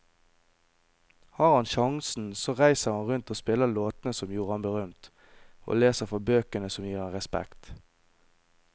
Har han sjansen så reiser han rundt og spiller låtene som gjorde ham berømt, og leser fra bøkene som gir ham respekt.